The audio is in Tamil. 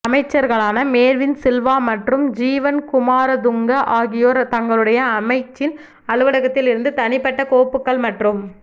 அமைச்சர்களான மேர்வின் சில்வா மற்றும் ஜீவன் குமாரதுங்க ஆகியோர் தங்களுடைய அமைச்சின் அலுவலகத்தில் இருந்து தனிப்பட்ட கோப்புக்கள் மற்றும்